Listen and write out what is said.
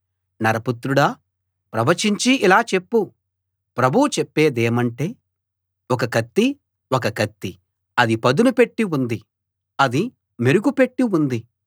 నరపుత్రుడా ప్రవచించి ఇలా చెప్పు ప్రభువు చెప్పేదేమంటే ఒక కత్తి ఒక కత్తి అది పదునుపెట్టి ఉంది అది మెరుగుపెట్టి ఉంది